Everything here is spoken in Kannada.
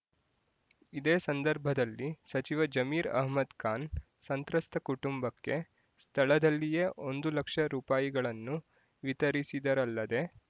ಇದೇ ಸಂದರ್ಭದಲ್ಲಿ ಸಚಿವ ಜಮೀರ್ ಅಹ್ಮದ್‍ಖಾನ್ ಸಂತ್ರಸ್ತ ಕುಟುಂಬಕ್ಕೆ ಸ್ಥಳದಲ್ಲಿಯೇ ಒಂದು ಲಕ್ಷ ರೂಪಾಯಿಗಳನ್ನು ವಿತರಿಸಿದರಲ್ಲದೇ